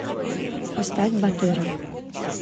поставь батыра